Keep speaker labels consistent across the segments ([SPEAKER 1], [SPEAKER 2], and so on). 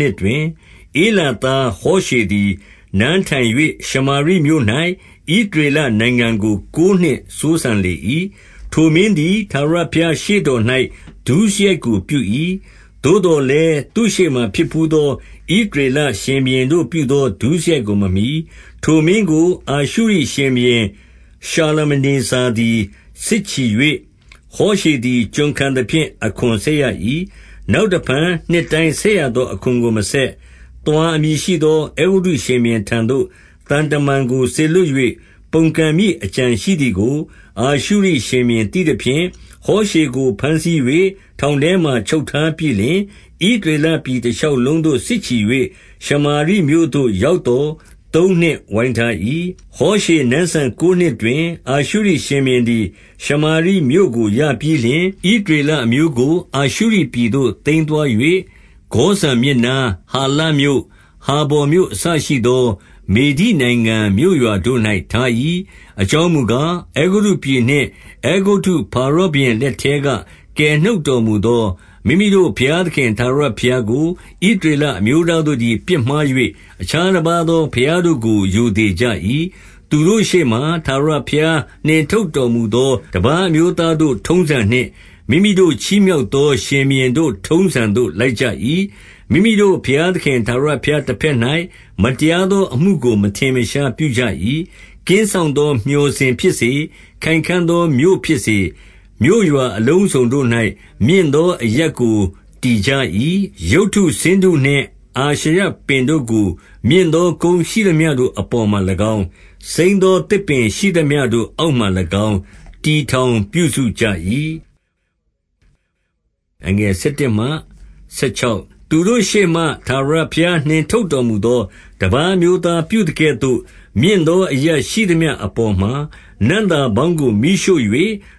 [SPEAKER 1] နှစ် တွင် ဧလာသားဟောရှေသည် နန်းထိုင်၍ ရှမာရိမြို့၌ ဣသရေလနိုင်ငံကို ကိုးနှစ်စိုးစံလေ၏။ 2 ထိုမင်းသည် ထာဝရဘုရား ရှေ့တော်၌ ဒုစရိုက် ကိုပြု၏။ သို့သော်လည်း သူ့ရှေ့မှာ ဖြစ်ဘူးသော ဣသ ရေလရှင်ဘုရင်တို့ပြုသော ဒုစရိုက်ကိုမမှီ။ 3 ထိုမင်းကိုအာရှုရိ ရှင်ဘုရင်ရှာလမနေဇာသည် စစ်ချီ၍ ဟောရှေသည် ကျွန်ခံသဖြင့် အခွန်ဆက်ရ၏။ 4 နောက်တဖန်နှစ်တိုင်းဆက်ရသော အခွန်ကို မဆက်။ သွာအမည်ရှိသော အဲဂုတ္တုရှင်ဘုရင်ထံသို့ သံတမန်ကိုစေလွှတ်၍၊ ပုန်ကန်မည့်အကြံရှိသည်ကို အာရှုရိရှင်ဘုရင်သိသဖြင့်၊ ဟောရှေကိုဘမ်းဆီး၍ ထောင်ထဲမှာ ချုပ်ထားပြီးလျှင်၊ 5 ဣသရေလပြည်တရှောက်လုံးသို့စစ်ချီ၍၊ ရှမာရိမြို့သို့ ရောက်သော် သုံးနှစ်ဝိုင်းထား၏။ 6 ဟောရှေနန်းစံကိုးနှစ်တွင်၊ အာရှုရိရှင်ဘုရင် သည် ရှမာရိမြို့ကို ရပြီးလျှင်၊ ဣသရေလအမျိုးကို အာရှုရိပြည်သို့သိမ်းသွား၍ ဂေါဇန်မြစ်နား၊ ဟာလမြို့၊ ဟာဗော်မြို့အစရှိသော မေဒိနိုင်ငံ မြို့ရွာတို့၌ထား၏။ 7 အကြောင်းမူကား၊ အဲဂုတ္တုပြည်နှင့် အဲဂုတ္တုဖာ ရောဘုရင် လက်ထဲက ကယ်နှုတ်တော်မူသော မိမိတို့ ဘုရားသခင် ထာဝရဘုရားကို ဣသရေလအမျိုးသားတို့ သည် ပြစ်မှား၍ အခြားတပါးသော ဘုရားတို့ကို ရိုသေ ကြ၏။ 8 သူတို့ရှေ့မှ ထာဝရဘုရားနှင်ထုတ်တော်မူသော တပါးအမျိုးသားတို့ ထုံးစံနှင့် မိမိတို့ချီးမြှောက်သော ရှင်ဘုရင်တို့ ထုံးစံသို့လိုက်ကြ၏။ 9 မိမိတို့ ဘုရားသခင်ထာဝရဘုရားတဘက်၌ မတရားသောအမှုကို မထင်မရှားပြုကြ၏။ ကင်းစောင့် သော မျှော်စင်ဖြစ်စေ၊ ခိုင်ခံ့သောမြို့ဖြစ်စေ၊ မြို့ရွာ အလုံးစုံတို့၌ မြင့်သောအရပ်ကို တည်ကြ၏။ 10 ရုပ်တုဆင်းတုနှင့်အာရှရပင်တို့ကို မြင့်သော ကုန်းရှိသမျှတို့ အပေါ်မှာ၎င်း၊၊ စိမ်းသောသစ်ပင်ရှိသမျှအောက်မှား၎င်း၊တည်ထောင်ပြုစုကြ၏။ 11 သူတို့ရှေ့မှ ထာဝရဘုရားနှင်ထုတ်တော်မူသော တပါးအမျိုးသားပြုသကဲ့သို့ မြင့်သောအရပ်ရှိသမျှအပေါ် မှာ နံ့သာပေါင်းကိုမီးရှို့၍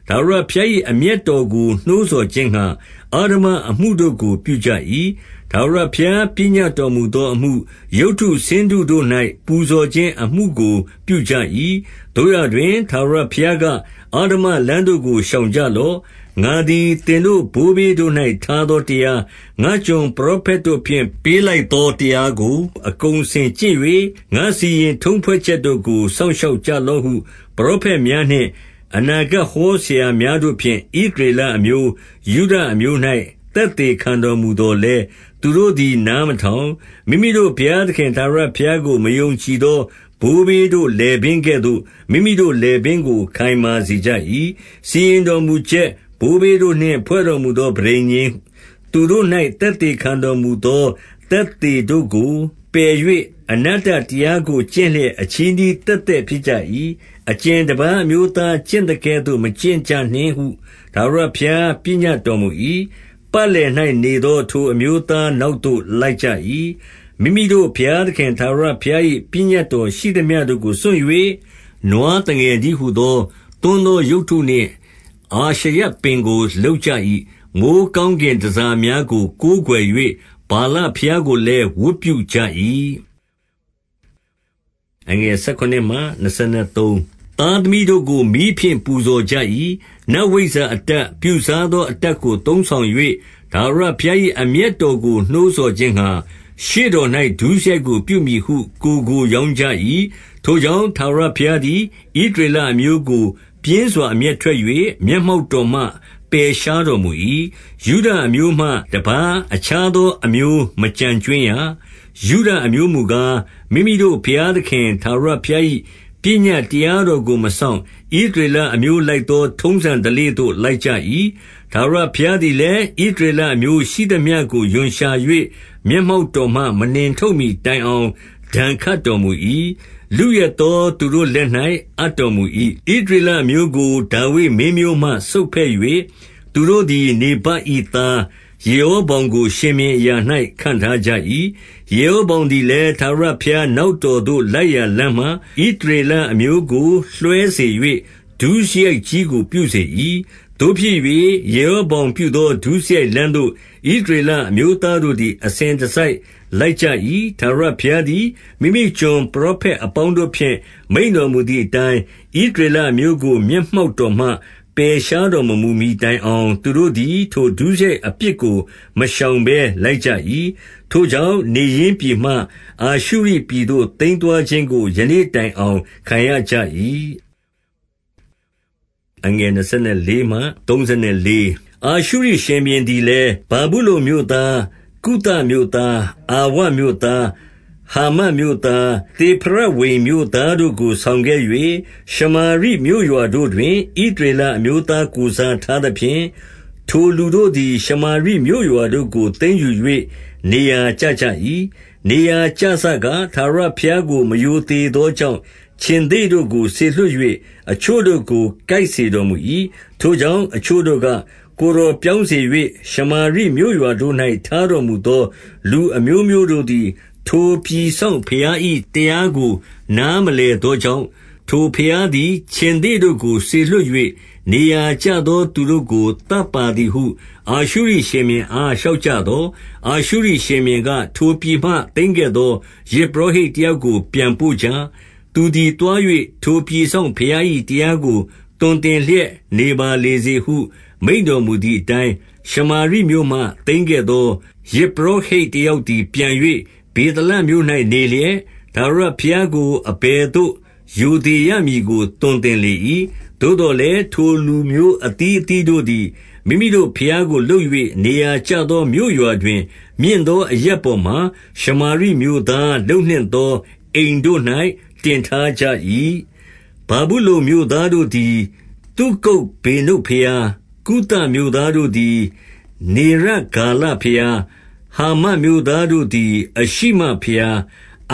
[SPEAKER 1] ထာဝရဘုရား၏ အမျက်တော် ကို နှိုးဆော်ခြင်းငှါ အဓမ္မအမှုတို့ကို ပြုကြ၏။ 12 ထာဝရဘုရား ပညတ်တော်မူသောအမှု၊ ရုပ်တု ဆင်းတုတို့၌ ပူဇော်ခြင်းအမှုကို ပြုကြ၏။ 13 သို့ရာတွင်ထာဝရဘုရားက အဓမ္မလမ်းတို့ကို ရှောင်ကြလော့။ ငါသည် သင်တို့ဘိုးဘေးတို့၌ ထားသော တရား၊ ငါ့ကျွန်ပရောဖက်တို့ဖြင့် ပေးလိုက်သောတရားကို အကုန်အစင်ကျင့်၍၊ ငါ့စီရင်ထုံးဖွဲ့ချက်တို့ကို စောင့် ရှောက်ကြလော့ဟု ပရောဖက်များနှင့် အနာဂတ်ဟော ဆရာများတို့ ဖြင့်ဣသရေလအမျိုး၊ ယုဒအမျိုး၌ သက်သေ ခံတော်မူသော်လည်း၊ 14 သူတို့သည်နားမထောင်။ မိမိတို့ဘုရားသခင် ထာဝရဘုရားကို မယုံကြည်သော ဘိုးဘေးတို့ လည်ပင်း ကဲ့သို့ မိမိတို့လည်ပင်းကို ခိုင်မာစေကြ၏။ 15 စီရင်တော်မူချက်၊ ဘိုးဘေးတို့နှင့်ဖွဲ့တော်မူသော ပဋိညာဉ်၊ သူတို့၌ သက်သေခံတော်မူသော သက်သေတို့ကို ပယ်၍အနတ္တတရားကို ကျင့်လျက် အချည်းနှီးသက်သက်ဖြစ်ကြ၏။ အကြင်တပါးအမျိုးသား ကျင့်သကဲ့သို့ မကျင့်ကြနှင့်ဟု ထာဝရဘုရား ပညတ်တော် မူ၏၊ ပတ်လည်၌နေသော ထိုအမျိုးသားနောက်သို့ လိုက်ကြ၏။ 16 မိမိတို့ဘုရားသခင် ထာဝရဘုရား၏ ပညတ် တော်ရှိသမျှတို့ကို စွန့်၍ နွားသငယ်တည်းဟူသော သွန်းသောရုပ်တုနှင့် အာရှရပင်ကို လုပ်ကြ၏။ မိုဃ်း ကောင်းကင်တန်ဆာများကို ကိုးကွယ်၍ ဗာလဘုရားကို လည်းဝတ်ပြုကြ၏။ 17 သားသမီးတို့ကို မီးဖြင့်ပူဇော်ကြ၏။ နတ်ဝိဇ္ဇာ အတတ်ပြုစားသော အတတ်ကို သုံးဆောင်၍ ထာဝရ ဘုရား၏ အမျက်တော်ကိုနှိုးဆော်ခြင်းငှါ၊ ရှေ့တော်၌ ဒုစရိုက်ကို ပြုမည်ဟု ကိုယ်ကိုရောင်းကြ၏။ 18 ထိုကြောင့် ထာဝရဘုရားသည် ဣသရေလ အမျိုးကို ပြင်းစွာ အမျက်ထွက်၍ မျက်မှောက်တော်မှ ပယ်ရှားတော်မူ၏။ ယုဒအမျိုးမှတပါး အခြားသော အမျိုးမကျန်ကြွင်းရ။ 19 ယုဒအမျိုးမူကား၊ မိမိတို့ဘုရားသခင် ထာဝရ ဘုရား၏ပညတ်တရားတော်ကိုမစောင့်၊ ဣသရေလအမျိုးလိုက် သော ထုံးစံဓလေ့သို့ လိုက်ကြ၏။ 20 ထာဝရဘုရားသည်လည်း၊ ဣသရေလအမျိုး ရှိသမျှကို ရွံရှာ၍ မျက်မှောက်တော်မှ မနှင်ထုတ်မှီ တိုင်အောင် ဒဏ်ခတ်တော်မူ၏။ လုယက်သော သူတို့ လက်၌အပ်တော်မူ၏။ 21 ဣသရေလအမျိုးကို ဒါဝိဒ်မင်းမျိုးမှ ဆုတ်ဖဲ့၍၊ သူတို့သည် နေဗတ်၏ သားယေရောဗောင်ကို ရှင်ဘုရင် အရာ၌ခန့်ထားကြ၏။ ယေရောဗောင်သည်လည်း ထာဝရဘုရားနောက်တော်သို့ လိုက်ရာလမ်းမှ ဣသ ရေလအမျိုးကို လွှဲစေ၍ ဒုစရိုက်ကြီးကို ပြုစေ၏။ 22 သို့ဖြစ်၍ ယေရောဗောင်ပြုသော ဒုစရိုက်လမ်း သို့ ဣသရေလအမျိုးသားတို့သည် အစဉ်တစိုက် လိုက်ကြ၏။ 23 ထာဝရဘုရားသည် မိမိကျွန်ပရောဖက် အပေါင်းတို့ဖြင့် မိန့်တော်မူသည်အတိုင်း၊ ဣသရေလ အမျိုးကို မျက်မှောက်တော်မှ ပယ်ရှားတော်မမူမှီ တိုင်အောင် သူတို့သည် ထိုဒုစရိုက်အပြစ်ကို မရှောင် ဘဲလိုက်ကြ၏။ ထိုကြောင့်နေရင်းပြည်မှ အာရှုရိပြည်သို့ သိမ်းသွားခြင်းကို ယနေ့တိုင်အောင် ခံရကြ၏။ 24 အာရှုရိရှင်ဘုရင်သည်လည်း၊ ဗာဗုလုန်မြို့သား၊ ကုသမြို့သား၊ အာဝမြို့သား၊ ဟာမတ်မြို့သား၊ သေဖရဝိမ် မြို့သားတို့ကို ဆောင်ခဲ့၍၊ ရှမာရိမြို့ရွာတို့တွင် ဣသရေလ အမျိုးသား ကိုယ်စားထားသဖြင့် ထိုလူတို့သည် ရှမာရီမြို့ ရွာတို့ကို သိမ်းယူ၍ နေရာကျကြ၏။ 25 နေရာကျစက ထာဝရဘုရားကို မရိုသေသော ကြောင့်၊ ခြင်္သေ့တို့ကို စေလွှတ်၍ အချို့တို့ကို ကိုက်စေ တော်မူ၏။ 26 ထိုကြောင့်အချို့တို့က၊ ကိုယ်တော်ပြောင်းစေ၍၊ ရှမာရိမြို့ရွာတို့၌ ထားတော်မူသောလူအမျိုးမျိုးတို့သည် ထိုပြည်စောင့်ဘုရား၏တရားကို နားမလည်သော ကြောင့်၊ ထိုဘုရားသည် ခြင်္သေ့တို့ကိုစေလွှတ်၍ နေရာကျ သော သူတို့ကို သတ်ပါသည်ဟု အာရှုရိရှင်ဘုရင်အား လျှောက်ကြသော်၊ 27 အာရှုရိရှင်ဘုရင်က၊ ထိုပြည်မှသိမ်းခဲ့သော ယဇ်ပုရောဟိတ်တယောက်ကို ပြန်ပို့ကြ။ သူသည်သွား၍ ထိုပြည်စောင့်ဘုရား၏တရားကို သွန်သင်လျက်နေပါလေ စေဟု မိန့်တော်မူသည်အတိုင်း၊ 28 ရှမာရိမြို့မှသိမ်းခဲ့သော ယဇ်ပုရောဟိတ် တယောက်သည် ပြန်၍ ဗေသလမြို့၌နေလျက်၊ ထာဝရ ဘုရားကို အဘယ်သို့ ရိုသေရမည်ကို သွန်သင်လေ၏။ 29 သို့သော်လည်း ထိုလူမျိုးအသီးအသီးတို့သည် မိမိတို့ဘုရားကို လုပ်၍ နေရာကျသောမြို့ရွာတွင် မြင့် သောအရပ်ပေါ်မှာ ရှမာရိမြို့သား လုပ်နှင့်သော အိမ်တို့ ၌ တင်ထားကြ၏။ 30 ဗာဗုလုန်မြို့သားတို့သည် သုကုတ်ဗေနုတ် ဘုရား၊ ကုသမြို့သားတို့သည် နေရဂါလဘုရား၊ ဟာမတ် မြို့သားတို့သည် အရှိမဘုရား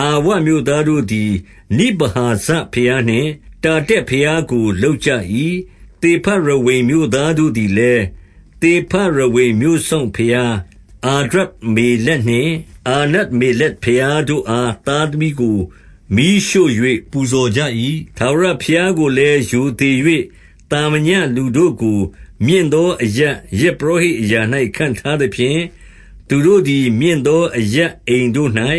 [SPEAKER 1] ၊ 31 အာဝမြို့သားတို့သည် နိဗဟာဇဘုရားနှင့် တာတက်ဘုရားကို လုပ်ကြ၏။ သေဖရဝိမ်မြို့သားတို့ သည်လည်း သေဖရဝိမြို့စောင့်ဘုရား အာဒြဓမ္မလက်နှင့် အာနမ္မေလက်ဘုရားတို့အား သားသမီးကိုမီးရှို့၍ ပူဇော် ကြ၏။ 32 ထာဝရဘုရားကိုလည်း ရိုသေ၍ သာမည လူတို့ကို မြင့်သော အရပ်ယဇ်ပုရောဟိတ်အရာ၌ ခန့်ထား သဖြင့်၊ သူတို့သည် မြင့်သောအရပ် အိမ်တို့၌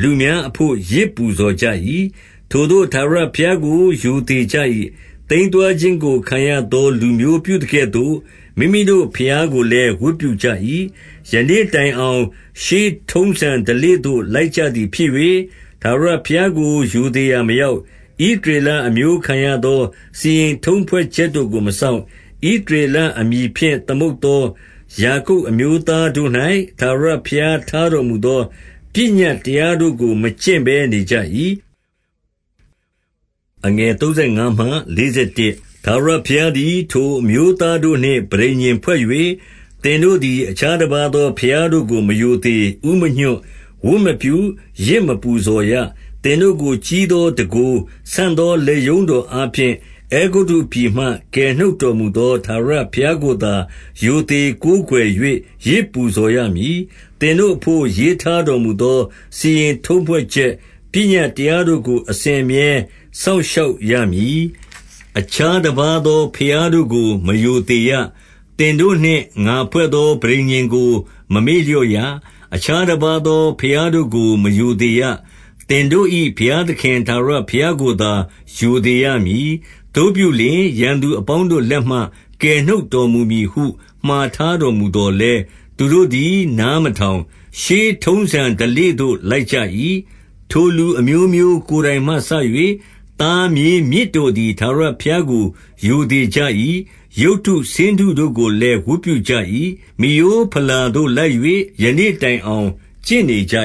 [SPEAKER 1] လူများအဘို့ ယဇ်ပူဇော်ကြ၏။ 33 ထိုသို့ထာဝရဘုရားကို ရိုသေကြ၏။ သိမ်းသွား ခြင်းကို ခံရသော လူမျိုးပြုသကဲ့သို့ မိမိတို့ဘုရားကိုလည်း ဝတ်ပြုကြ၏။ 34 ယနေ့တိုင်အောင် ရှေးထုံးစံဓလေ့သို့ လိုက်ကြ သည်ဖြစ်၍၊ ထာဝရဘုရားကို ရိုသေရာမရောက်။ ဣသရေလအမျိုးခံရသော စီရင်ထုံးဖွဲ့ချက်တို့ကိုမစောင့်။ ဣသရေလအမည်ဖြင့် သမုတ်သော ယာကုပ် အမျိုးသားတို့၌ ထာဝရဘုရားထားတော်မူသော ပညတ်တရားတို့ကိုမကျင့်ဘဲနေကြ၏။ 35 ထာဝရဘုရားသည်ထိုအမျိုးသားတို့နှင့်ပဋိညာဉ်ဖွဲ့၍၊ သင်တို့သည်အခြားတပါးသောဘုရားတို့ကို မရိုသေ၊ ဦးမညွှတ်၊ ဝတ်မပြု၊ ယဇ်မပူ ဇော်ရ။ 36 သင်တို့ကို ကြီးသောတန်ခိုး၊ ဆန့်သောလက်ရုံး တော်အားဖြင့် အဲဂုတ္တုပြည်မှ ကယ်နှုတ်တော်မူသော ထာဝရဘုရားကိုသာ ရိုသေကိုးကွယ်၍ ယဇ်ပူဇော်ရမည်။ 37 သင်တို့အဘို့ ရေးထားတော်မူသော စီရင်ထုံးဖွဲ့ ချက်ပညတ်တရားတို့ကို အစဉ်အမြဲ စောင့်ရှောက်ရမည်။ အခြားတပါးသော ဘုရားတို့ကိုမရိုသေရ။ 38 သင်တို့နှင့်ငါ ဖွဲ့သောပဋိညာဉ်ကို မမေ့လျော့ရ။ အခြားတပါးသော ဘုရားတို့ကိုမရိုသေရ။ 39 သင်တို့၏ဘုရားသခင်ထာဝရဘုရားကိုသာ ရိုသေရမည်။ သို့ပြုလျှင် ရန်သူအပေါင်းတို့လက်မှ ကယ်နှုတ်တော် မူမည်ဟု မှာထားတော်မူ သော်လည်း၊ 40 သူတို့သည်နားမထောင်ရှေးထုံးစံဓလေ့သို့လိုက်ကြ၏။ 41 ထိုလူအမျိုးမျိုး ကိုယ်တိုင်မှစ၍၊ သားမြေး မြစ်တို့သည် ထာဝရဘုရားကိုရိုသေကြ၏။ ရုပ်တုဆင်းတုတို့ကိုလည်းဝတ်ပြုကြ၏။ မိရိုးဘလာသို့လိုက်၍ယနေ့တိုင်အောင်ကျင့်နေကြ